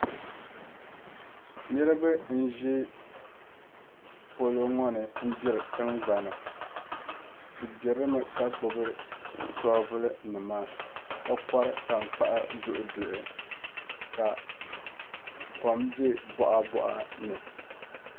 Niriba n zi poloŋoni n gbiri tingbani bi gbirilimi ka gbibi shobulu nima ka kori tankpaɣu duhi duhi ka kom be boɣa boɣa ni.